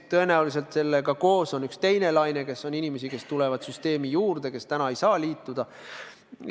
Tõenäoliselt sellega koos tekib üks teine laine, sest süsteemi tulevad juurde inimesed, kes täna ei saa liituda.